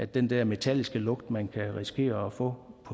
den der metalliske lugt man kan risikere at få